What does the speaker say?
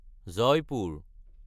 Jaipur